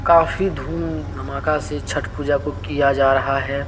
काफी धूम धमाका से छठ पूजा को किया जा रहा है।